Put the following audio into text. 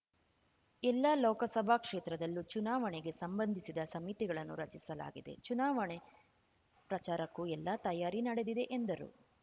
ಎಲ್ಲಾ ಲೋಕಸಭಾ ಕ್ಷೇತ್ರದಲ್ಲೂ ಚುನಾವಣೆಗೆ ಸಂಬಂಧಿಸಿದ ಸಮಿತಿಗಳನ್ನು ರಚಿಸಲಾಗಿದೆ ಚುನಾವಕ್ಕೆ ಪ್ರಚಾರಕ್ಕೂ ಎಲ್ಲ ತಯಾರಿ ನಡೆದಿದೆ ಎಂದರು